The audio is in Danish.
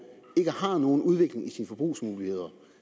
ikke har nogen udvikling i sine forbrugsmuligheder